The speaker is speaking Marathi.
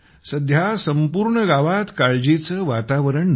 सध्या संपूर्ण गावात काळजीचे वातावरण नाही